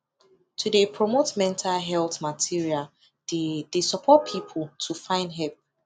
to de promote mental health material de de support people to find help